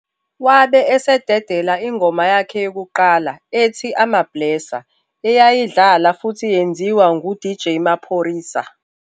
Wabe esededela ingoma yakhe yokuqala ethi "AmaBlesser" eyayidlala futhi yenziwa nguDJ Maphorisa.